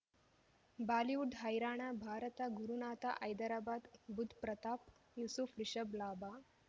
Bollywood ಹೈರಾಣ ಭಾರತ ಗುರುನಾಥ ಹೈದರಾಬಾದ್ ಬುಧ್ ಪ್ರತಾಪ್ ಯೂಸುಫ್ ರಿಷಬ್ ಲಾಭ